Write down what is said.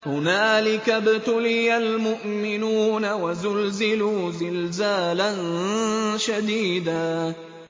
هُنَالِكَ ابْتُلِيَ الْمُؤْمِنُونَ وَزُلْزِلُوا زِلْزَالًا شَدِيدًا